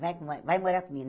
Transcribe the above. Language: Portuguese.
Vai vai morar comigo?